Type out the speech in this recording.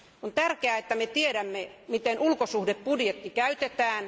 On tärkeää, että me tiedämme, miten ulkosuhdebudjetti käytetään.